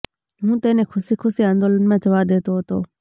હું તેને ખુશી ખુશી આંદોલનમાં જવા દેતો હતો